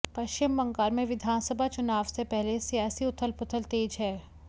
पश्चिम बंगाल में विधानसभा चुनाव से पहले सियासी उथल पुथल तेज है